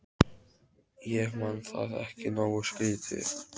Ég man það ekki nógu skýrt.